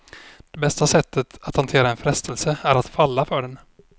Det bästa sättet att hantera en frestelse är att falla för den.